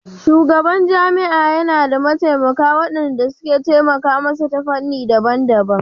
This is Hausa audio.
Shugaban jami'a yana da mataimaka waɗanda suke taimaka masa ta fannoni daban-daban